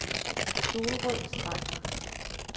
Solrød Strand